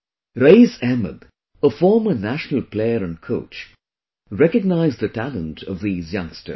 Raees Ahmed, a former national player and coach, recognized the talent of these youngsters